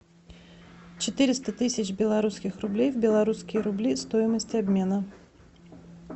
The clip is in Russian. четыреста тысяч белорусских рублей в белорусские рубли стоимость обмена